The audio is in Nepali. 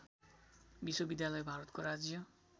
विश्वविद्यालय भारतको राज्य